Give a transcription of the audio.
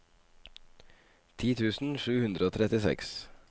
ti tusen sju hundre og trettiseks